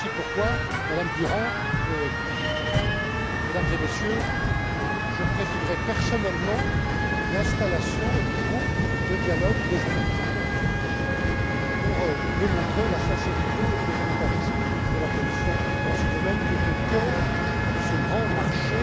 Et voilà aussi pourquoi, Madame Durant, Mesdames et Messieurs, je présiderai personnellement l'installation du groupe de dialogue des utilisateurs, pour démontrer la sincérité et le volontarisme de la Commission dans ce domaine qui est au cœur de ce grand